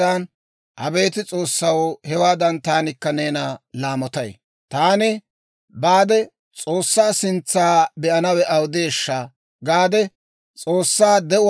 «Taani baade, S'oossaa sintsa be'anawe awudeeshsha?» gaade, S'oossaa, de'uwaa S'oossaa be"anaw saamettay.